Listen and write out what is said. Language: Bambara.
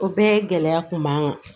O bɛɛ gɛlɛya kun b'an kan